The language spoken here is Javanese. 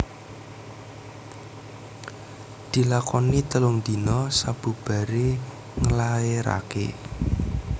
Dilakoni telung dina sabubaré nglaéraké